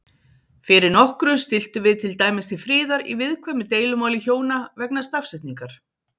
Fyrir nokkru stilltum við til dæmis til friðar í viðkvæmu deilumáli hjóna vegna stafsetningar.